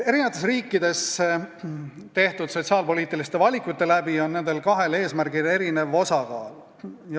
Erinevates riikides on sotsiaalpoliitiliste valikute mõjul nendel kahel eesmärgil erinev osakaal.